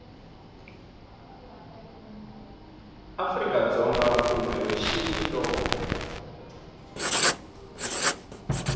afrika dzonga kumbe mixini loko